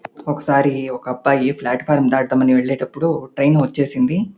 ఒకసారి ఒక అబ్బాయి ప్లాట్ఫారం దాటుదాం అని వెళ్ళేటప్పుడు ట్రైన్ వచ్చేసింది.